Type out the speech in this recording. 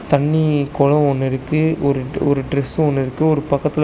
தண்ணி கொளோ ஒன்னு இருக்கு ஒரு ஒரு ட்ரஸ் ஒன்னு இருக்கு ஒரு பக்கத்துல--